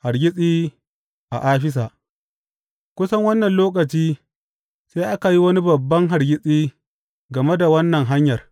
Hargitsi a Afisa Kusan wannan lokaci sai aka yi wani babban hargitsi game da wannan Hanyar.